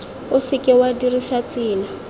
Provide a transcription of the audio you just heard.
o seke wa dirisa tsela